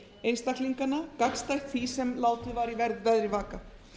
einstaklinganna gagnstætt því sem látið var í veðri vaka